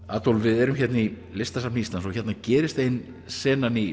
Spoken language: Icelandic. Adolf við erum hérna í Listasafni Íslands hérna gerist ein senan í